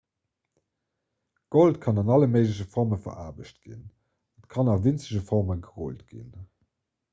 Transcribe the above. gold kann an alle méigleche forme veraarbecht ginn et kann a winzeg forme gerullt ginn